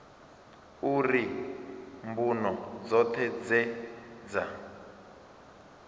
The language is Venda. uri mbuno dzoṱhe dze dza